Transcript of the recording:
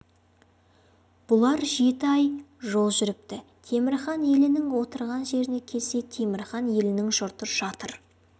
бұлар жеті ай жол жүріпті темір хан елінің отырған жеріне келсе темір хан елінің жұрты жатыр